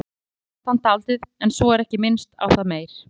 Stundum skammast hann dálítið en svo er ekki minnst á það meir.